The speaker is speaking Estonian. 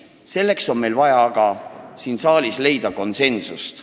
Selleks on meil aga siin saalis vaja leida konsensus.